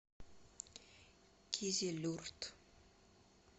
кизилюрт